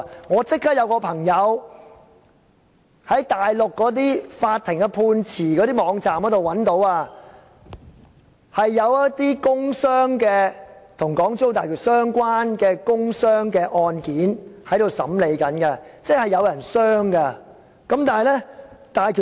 我有朋友立即在內地法庭的判詞網頁，找到有一些跟港珠澳大橋相關的工傷案件正在審理當中，意味真的有人因此受傷。